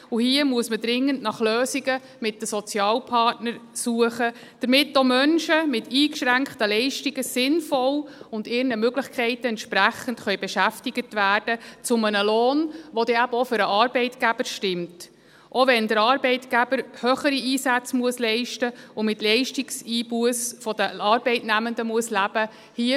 Hier muss man dringend nach Lösungen mit den Sozialpartnern suchen, damit auch Menschen mit eingeschränkten Leistungen sinnvoll und ihren Möglichkeiten entsprechend beschäftigt werden können und dies zu einem Lohn, der dann eben auch für den Arbeitgeber stimmt, auch wenn der Arbeitgeber höhere Einsätze leisten und mit Leistungseinbussen der Arbeitnehmenden leben muss.